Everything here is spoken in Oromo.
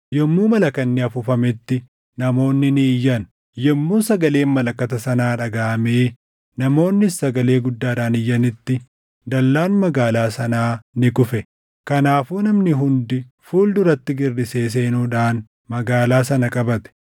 Yommuu malakanni afuufametti namoonni ni iyyan; yommuu sagaleen malakata sanaa dhagaʼamee namoonnis sagalee guddaadhaan iyyanitti dallaan magaalaa sanaa ni kufe. Kanaafuu namni hundi fuul duratti girrisee seenuudhaan magaalaa sana qabate.